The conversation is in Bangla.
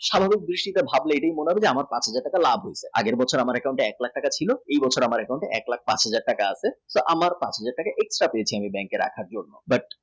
সাধারন দৃষ্টিতে ভাবলে মনে হবে আদি আগের বছর আমার account এ এক লাখ টাকা ছিল এখন এক লাখ পাঁচ হাজার আছে আমরা ভাবি আমরা ভাবি পাঁচ হাজার টাকা extra পেয়েছি bank এ রাখার জন্যে